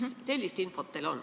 Kas teil sellist infot on?